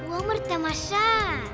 өмір тамаша